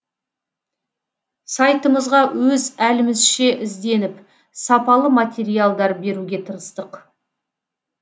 сайтымызға өз әлімізше ізденіп сапалы материалдар беруге тырыстық